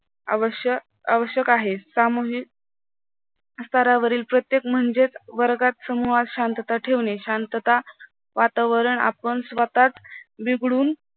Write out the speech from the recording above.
आवश्यक आहेत सामूहिक स्तरावरील प्रत्येक म्हणजे वर्गात समूहात शांतता ठेवने शांतता वातावरण आपण स्वतः बिघडून